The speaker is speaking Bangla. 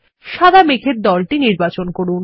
সাদা মেঘের দলটিকে নির্বাচন করুন